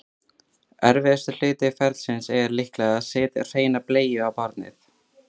Erfiðasti hluti ferlisins er líklega að setja hreina bleiu á barnið.